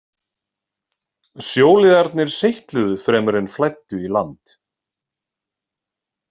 Sjóliðarnir seytluðu fremur en flæddu í land.